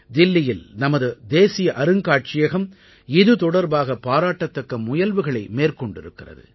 தில்லியில் நமது தேசிய அருங்காட்சியகம் இது தொடர்பாக பாராட்டத்தக்க முயல்வுகளை மேற்கொண்டிருக்கிறது